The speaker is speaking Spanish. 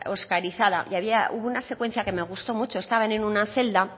oscarizada y hubo una secuencia que me gustó mucho estaban en una celda